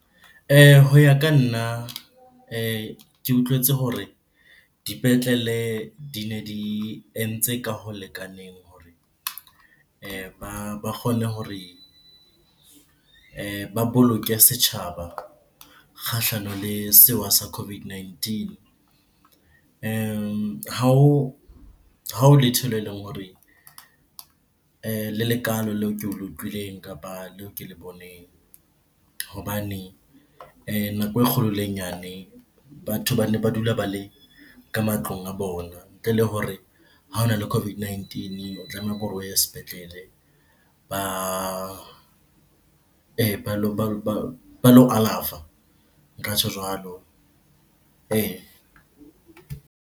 Ho ya ka nna, ke utlwetse hore dipetlele dine di entse ka ho lekaneng hore ba kgone hore ba boloke setjhaba kgahlano le sewa sa COVID nineteen. Ha ho letho leo le leng hore le le kalo leo ke le utlwileng kapa leo ke le boneng. Hobane nako e kgolo le e nyane, batho bane ba dula ba le ka matlong a bona. Ntle le hore ha hona le COVID-19 o tlameha hore o ye sepetlele ba ba lo alafa. Nka tjho jwalo .